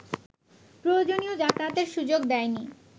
প্রয়োজনীয় যাতায়াতের সুযোগ দেয়নি